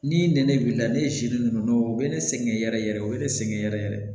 Ni nɛnɛ b'i la ne ye ninnu u bɛ ne sɛgɛn yɛrɛ yɛrɛ o ye ne sɛgɛn yɛrɛ yɛrɛ